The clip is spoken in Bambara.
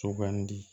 Sugandi